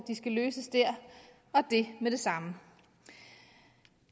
skal løses der og det med det samme